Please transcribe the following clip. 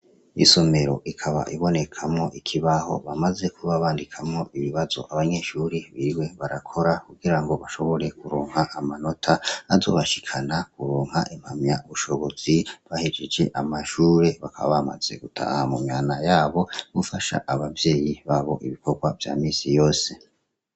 Isomero ikaba ibonekamwo ikibaho bamaze kuba bandikamwo ibibazo abanyeshuri biriwe barakora kugirango bashobore kuronka amanota, azobashikana kuronka impamyabushobozi bahejeje amashure, bakaba bamaze gutaha mumihana yabo gufasha abavyeyi babo ibikorwa vya misi yose.